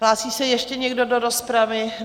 Hlásí se ještě někdo do rozpravy?